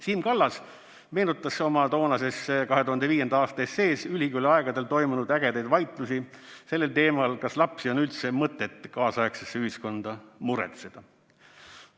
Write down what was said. Siim Kallas meenutas oma toonases 2005. aasta essees ülikooliaegadel toimunud ägedaid vaidlusi sellel teemal, kas lapsi on üldse mõtet kaasaegsesse ühiskonda muretseda.